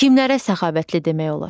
Kimlərə səxavətli demək olar?